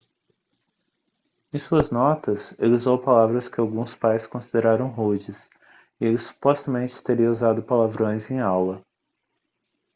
em suas notas ele usou palavras que alguns pais consideraram rudes e ele supostamente teria usado palavrões em aula